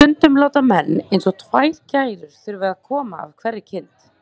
Stundum láta menn eins og tvær gærur þurfi að koma af hverri kind.